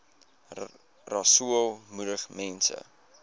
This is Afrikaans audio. rasool moedig mense